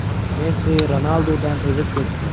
Messi Ronaldudan o‘zib ketdi.